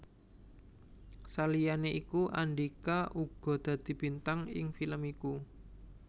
Saliyané iku Andhika uga dadi bintang ing film iku